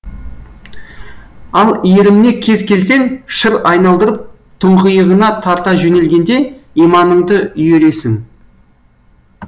ал иіріміне кез келсең шыр айналдырып тұңғиығына тарта жөнелгенде иманыңды үйіресің